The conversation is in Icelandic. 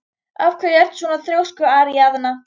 Af hverju ertu svona þrjóskur, Aríaðna?